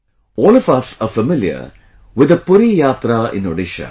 All of us are familiar with the Puri yatra in Odisha